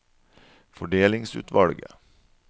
fordelingsutvalget